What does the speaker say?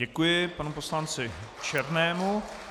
Děkuji panu poslanci Černému.